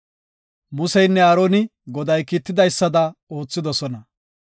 Museynne Aaroni Goday kiitidaysada oothidosona.